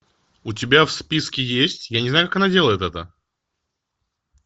у тебя в списке есть я не знаю как она делает это